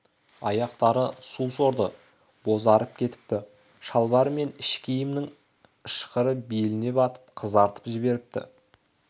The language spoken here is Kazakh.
аяқтары су сорды бозарып кетіпті шалбар мен іш киімнің ышқыры беліне батып қызартып жіберіпті